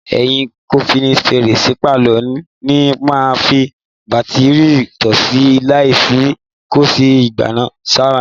Ẹyin kọ́tíìnì fèrèsé pálọ̀ ni màá fi bátíìrì tọ́ọ́ṣí laìtì sí kó lè gbaná sára.